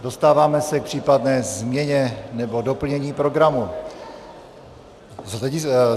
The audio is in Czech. Dostáváme se k případné změně nebo doplnění programu.